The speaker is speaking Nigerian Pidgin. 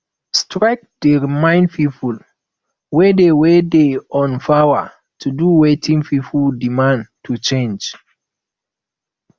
strike dey remind people wey dey wey dey on power to do wetin people demand and change